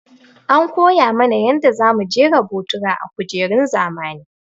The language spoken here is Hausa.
An koya mana yanda za mu jera botura a kujerun zamani.